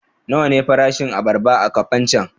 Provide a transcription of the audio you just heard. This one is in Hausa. Nawa ne farashin abarba a Kafancan?